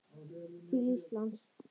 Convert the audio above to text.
til Íslands?